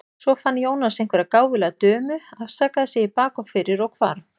Svo fann Jónas einhverja gáfulega dömu, afsakaði sig í bak og fyrir og hvarf.